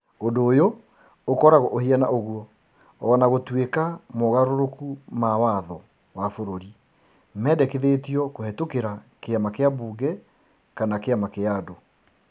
Ũndũ ũyũ ũkoragwo ũhiana ũguo o na gũtuĩka mogarũrũku ma watho wa bũrũri mendekithĩtio kũhetokera kĩama kĩa mbunge kana kĩama kĩa andũ.